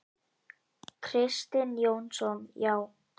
Kristinn Jónsson: Já.